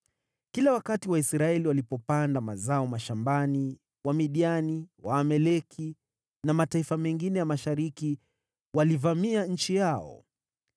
Kila wakati Waisraeli walipopanda mazao mashambani, Wamidiani, Waamaleki na mataifa mengine ya mashariki walivamia nchi yao.